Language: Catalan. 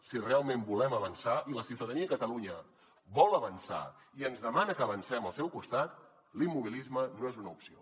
si realment volem avançar i la ciutadania de catalunya vol avançar i ens demana que avancem al seu costat l’immobilisme no és una opció